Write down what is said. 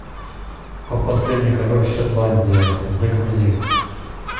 последний король шотландии загрузи